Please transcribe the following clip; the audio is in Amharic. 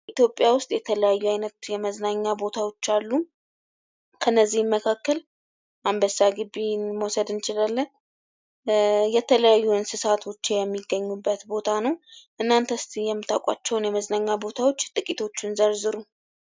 የኢትዮጵያ ውስጥ የተለያዩ አይነት የመዝናኛ ቦታዎች አሉ ከነዚህም መካከል አንበሳ ግቢን መዉሰድ እንችላለን የተለያዩ እንስሳቶች የሚገኙበት ቦታ ነው :: እናንተ እስኪ የምታውቃቸውን የመዝናኛ ቦታዎች ጥቂቶቹን ዘርዝሩ?